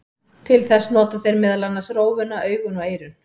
Til þess nota þeir meðal annars rófuna, augun og eyrun.